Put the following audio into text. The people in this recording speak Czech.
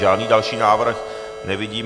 Žádný další návrh nevidím.